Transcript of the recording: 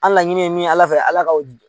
An laɲini ye min ye Ala fɛ Ala ka o di.